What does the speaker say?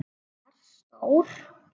Varð stór.